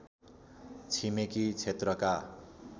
छिमेकी क्षेत्रका